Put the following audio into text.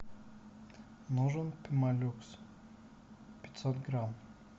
нужен пемолюкс пятьсот грамм